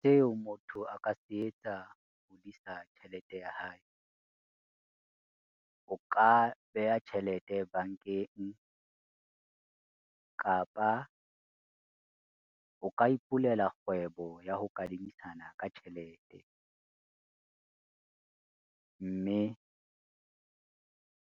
Tseo motho a ka se etsa ho hodisa tjhelete ya hae, o ka beha tjhelete bankeng kapa o ka ipulela kgwebo ya ho kadimisana ka tjhelete. Mme